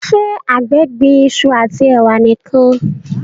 ṣe àgbè gbìn iṣu ati ewa nìkàn?